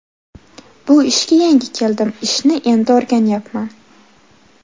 Bu ishga yangi keldim, ishni endi o‘rganyapman.